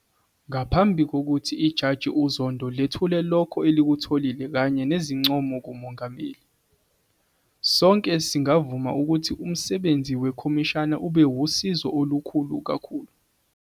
Ngaphambi kokuthi iJaji uZondo lethule lokho elikutholile kanye nezincomo kuMongameli, sonke singavuma ukuthi umsebenzi wekhomishana ube wusizo olukhulu kakhulu.